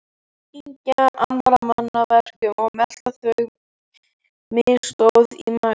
Kyngja annarra manna verkum og melta þau, misgóð í maga.